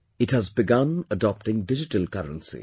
It has begun adopting digital currency